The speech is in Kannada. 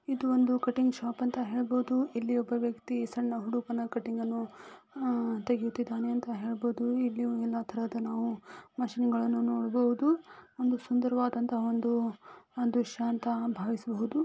ಇದು ಒಂದು ಕಟಿಂಗ್ ಶಾಪ್ ಅಂತ ಹೇಳಬಹುದು. ಇಲ್ಲಿ ಒಬ್ಬ ವ್ಯಕ್ತಿ ಸಣ್ಣ ಹುಡುಗನ ಕಟಿಂಗ್ ಅನ್ನು ಆ-- ತೆಗಿತಿದ್ದಾನೆ ಅಂತ ಹೇಳಬಹುದು. ಇಲ್ಲಿ ಎಲ್ಲಾ ತರದ ನಾವು ಮಷೀನ್ ಗಳನ್ನು ನೋಡಬಹುದು ಒಂದು ಸುಂದರವಾದಂತಹ ಒಂದು ದೃಶ್ಯ ಅಂತ ಭಾವಿಸಬಹುದು.